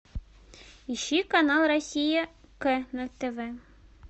ищи канал россия к на тв